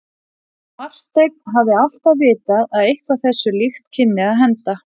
Marteinn hafði alltaf vitað að eitthvað þessu líkt kynni að henda.